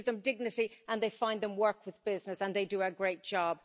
they give them dignity and they find them work with businesses and they do a great job.